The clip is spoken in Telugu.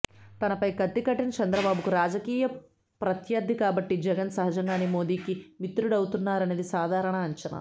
తనపై కత్తి కట్టిన చంద్రబాబుకు రాజకీయ ప్రత్యర్ది కాబట్టి జగన్ సహజంగానే మోదీకి మిత్రుడవుతారనేది సాధారణ అంచనా